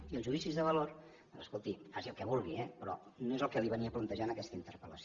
i els judicis de valor escolti faci el que vulgui eh però no és el que li venia a plantejar en aquesta interpel·lació